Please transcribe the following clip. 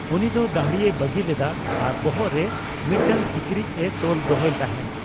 ᱩᱱᱤ ᱫᱚ ᱫᱟᱹᱲᱦᱤᱭ ᱵᱟᱹᱜᱤ ᱞᱮᱫᱟ ᱟᱨ ᱵᱚᱦᱚᱜ ᱨᱮ ᱢᱤᱫᱴᱟᱝ ᱠᱤᱪᱨᱤᱡᱽ ᱮ ᱛᱚᱞ ᱫᱚᱦᱚᱭ ᱛᱟᱦᱮᱱ ᱾